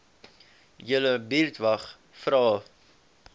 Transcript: julle buurtwag vra